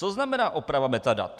Co znamená oprava metadat?